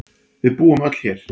Við búum öll hér.